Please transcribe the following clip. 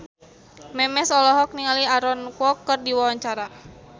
Memes olohok ningali Aaron Kwok keur diwawancara